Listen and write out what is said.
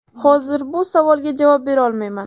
Hozir bu savolga javob bera olmayman.